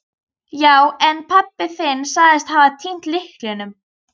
Já, en pabbi þinn sagðist hafa týnt lyklinum.